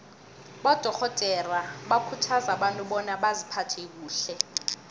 abadorhodere bakhuthaza abantu bona baziphathe kuhle